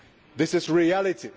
This is reality.